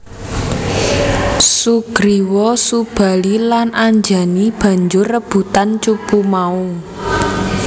Sugriwa Subali lan Anjani banjur rebutan cupu mau